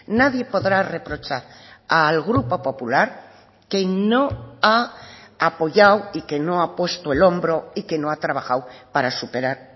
nadie podrá reprochar al grupo popular que no ha apoyado y que no ha puesto el hombro y que no ha trabajado para superar